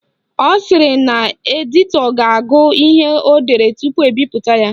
Ọ sịrị na editọ ga-agụ ihe o dere tupu ebipụta ya